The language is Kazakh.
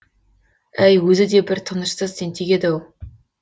әй өзі де бір тынышсыз тентек еді ау